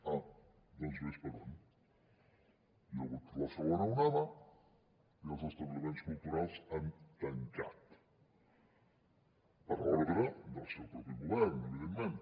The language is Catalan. ah doncs vés per on hi ha hagut la segona onada i els establiments culturals han tancat per ordre del seu mateix govern evidentment